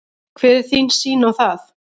Hver er þín sýn á það?